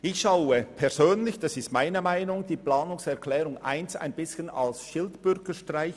Ich persönlich betrachte die Planungserklärung 1 ein bisschen als Schildbürgerstreich.